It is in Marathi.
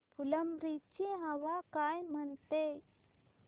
फुलंब्री ची हवा काय म्हणते